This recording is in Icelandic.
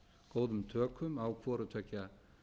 góðum tökum á hvorutveggja